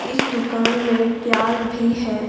इस दुकान में प्याज भी है।